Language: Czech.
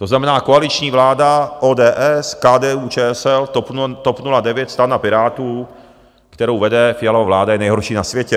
To znamená, koaliční vláda ODS, KDU-ČSL, TOP 09, STAN a Pirátů... kterou vede Fialova vláda, je nejhorší na světě.